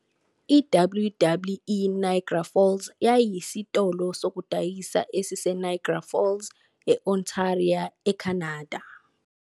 I-WWE Niagara Falls yayiyisitolo sokudayisa esiseNiagara Falls, e-Ontario, eCanada.